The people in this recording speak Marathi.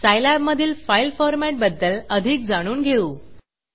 सायलॅबमधील फाईल फॉरमॅटबद्दल अधिक जाणून घेऊ